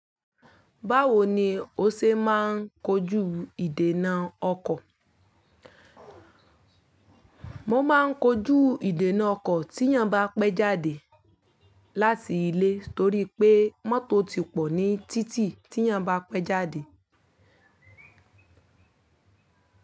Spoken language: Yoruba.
Báwo ni o ṣe máa ń kojú ìdènà ọkọ̀? Mo máa ń kojú ìdènà ọkọ̀ tí'yàn bá pẹ́ jáde láti ilé torí pé mọ́tò ó ti pọ̀ ní títì tí'yàn bá pẹ́ jáde.